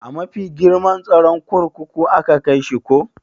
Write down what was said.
A mafi girman tsaron kurkuku aka kaishi ko?